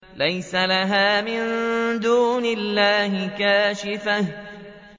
لَيْسَ لَهَا مِن دُونِ اللَّهِ كَاشِفَةٌ